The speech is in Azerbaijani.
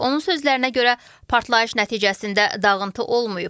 Onun sözlərinə görə partlayış nəticəsində dağıntı olmayıb.